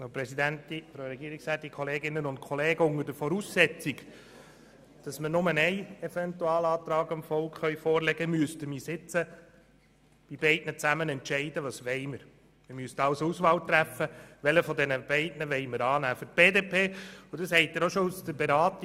Unter der Voraussetzung, dass wir dem Volk nur Eventualantrag vorlegen können, müssten wir nun entscheiden, welchen der beiden wir annehmen wollen.